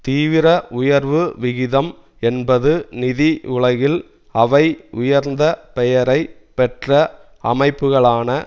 தீவிர உயர்வு விகிதம் என்பது நிதி உலகில் அவை உயர்ந்த பெயரை பெற்ற அமைப்புக்களான